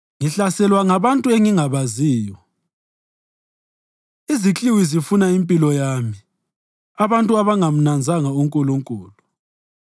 Ngihlaselwa ngabantu engingabaziyo; izikliwi zifuna impilo yami abantu abangamnanzanga uNkulunkulu.